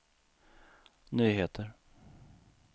nyheter